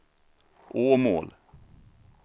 Åmål